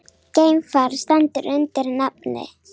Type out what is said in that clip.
Geimfar stendur undir nafni